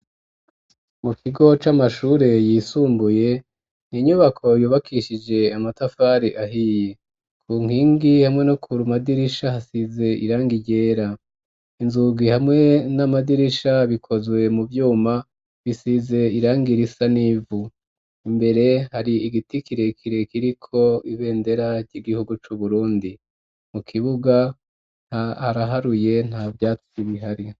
Mu kigo c'amashure yisumbuye ni inyubako yubakishije amatafari ahiye. Ku nkingi hamwe no kuru madirisha hasize irangi ryera inzugi hamwe n'amadirisha bikozwe mu vyuma bisize irangirisa n'ivu imbere hari igiti kire kire kiriko ibendera ry'igihugu cu Burundi mu kibuga nta haraharuye nta vyatsi bihari.